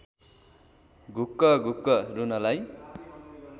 घुँक्कघुँक्क रुनलाई